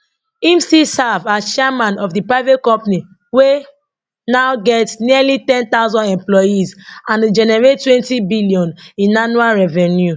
im still serve as chairman of di private company wey now get nearly 10000 employees and dey generatetwentybillion in annual revenue